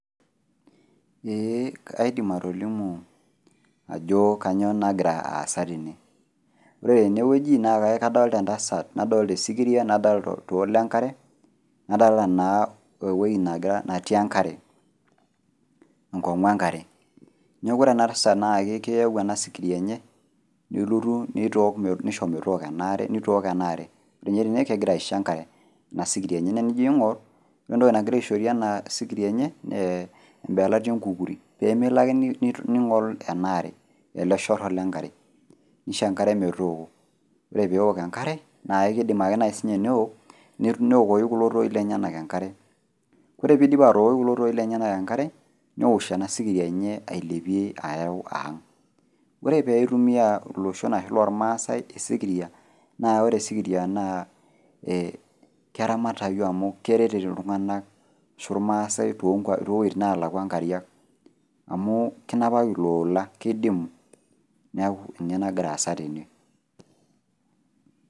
Eeh kaidim atolimu ajo kanyoo nagira aasa tene. Ore tenewueji naake akadolita entasat nadolta esikiria nadolta oltoo le nkare nadolta naa ewuei natii enkare, enkong'u enkare. Neaku ore enatasat naake keewuo oena sikiria enye nelotu neitook, neisho metooko enaare, neitook enaare. Ore tene kegira aisho enkare inasikiria enye, naa enijo ing'orr ore entoki nagira aishorie ena sikiria enye nee embeelati enkukuri peemelo ake neing'ol enaare, ele shorro lenkare, neisho enkare metooko. Ore peeok enkare naakeidim ake nai sininye neok neokoki kulo tooi lenyenak enkare. Ore peeidip atookoki kulo tooi lenyenak enkare neosh ena sikiria enye ailepie areu ang'. Ore peeitumia iloshon ashu lolmaasai esikiria naa ore esikiria naa ee keramatayu amu keretito iltung'ana ashu ilmaasai tonkuapi, towueitin naalakua nkariak amuu kinapaki iloola keidimu neaku ninye nagiraasa tene.